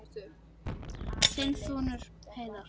Þinn sonur, Heiðar.